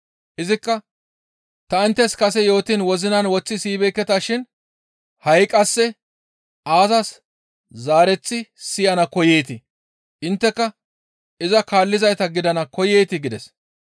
Izikka, «Ta inttes kase yootiin wozinan woththi siyibeekketa shin ha7i qasse aazas zaareththi siyana koyeetii? Intteka iza kaallizayta gidana koyeetii?» gides.